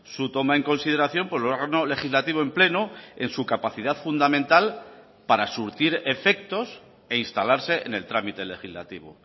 su toma en consideración por órgano legislativo en pleno en su capacidad fundamental para surtir efectos e instalarse en el trámite legislativo